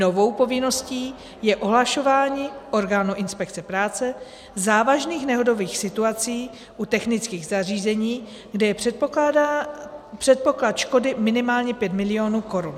Novou povinností je ohlašování orgánu inspekce práce závažných nehodových situací u technických zařízení, kde je předpoklad škody minimálně pět milionů korun.